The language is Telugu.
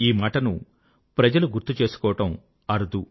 ఈ మాటను ప్రజలు గుర్తు చేసుకోవడం అరుదు